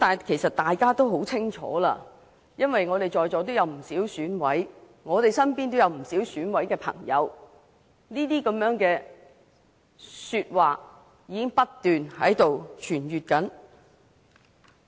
其實，大家都很清楚，因為在座有不少議員是選舉委員會委員，我們身邊都有不少朋友是選委，指中央介入的說法已經不斷在流傳。